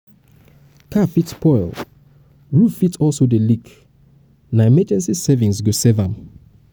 car fit spoil roof fit also dey leak na emergency savings go fix am.